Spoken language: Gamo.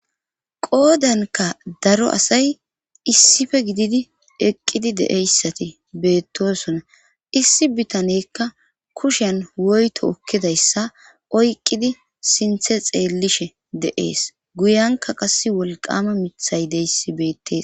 qoodanka daro asay issife gididi eqqidi deeyssati beettosona issi bitanekka kushen woyto okkidayssa oyqqidi sinthe xeellishe de'ees guyanka qas wolqama mithay deyssi beettes